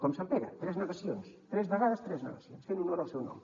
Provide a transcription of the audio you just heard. com sant pere tres negacions tres vegades tres negacions fent honor al seu nom